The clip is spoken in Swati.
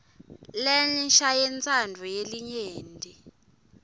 lensha yentsandvo yelinyenti